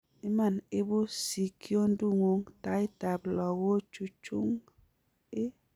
Iman ibuu sikyondugung' taaiit ab logochung ii?